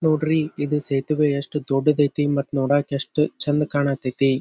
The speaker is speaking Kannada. ನೋಡ್ರಿ ಇದು ಸೇತುವೆ ಯೆಸ್ಟ್ ದೊಡ್ಡದೈತಿ ಮತ್ ನೋಡೋಕ್ ಯೆಸ್ಟ್ ಚೆಂದ ಕಣತ್ ಅಯ್ತಿ .